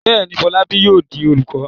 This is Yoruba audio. Bẹ́ẹ̀ ni, Fọlábí yóò di olùkọ́.